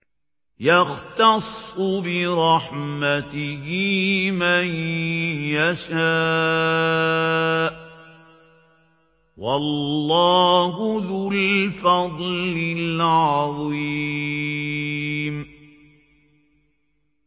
يَخْتَصُّ بِرَحْمَتِهِ مَن يَشَاءُ ۗ وَاللَّهُ ذُو الْفَضْلِ الْعَظِيمِ